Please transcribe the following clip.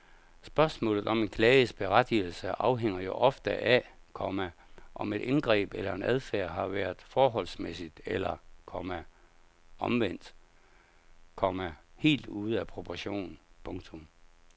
Spørgsmålet om en klages berettigelse afhænger jo ofte af, komma om et indgreb eller en adfærd har været forholdsmæssigt eller, komma omvendt, komma helt ude af proportion. punktum